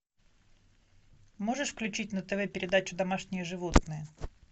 можешь включить на тв передачу домашние животные